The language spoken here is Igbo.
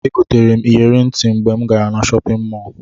Egoterem iyeri ntim mgbe mu gara na shopin mọlụ.